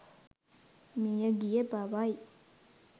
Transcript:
මියගිය බවයි.